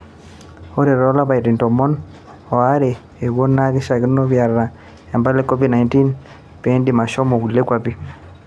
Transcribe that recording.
Ore too lapaitin tomon o are ooponu naa keishiakino piata impala e covid-19 peendim ashomo kulie kwapi.